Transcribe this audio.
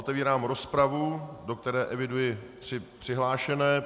Otevírám rozpravu, do které eviduji tři přihlášené.